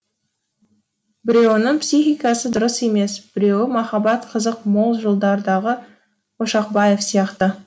біреуінің психикасы дұрыс емес біреуі махаббат қызық мол жылдардағы ошақбаев сияқты